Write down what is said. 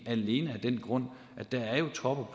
alene af den grund at der jo og